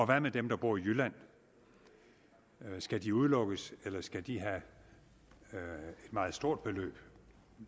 hvad med dem der bor i jylland skal de udelukkes eller skal de have et meget stort beløb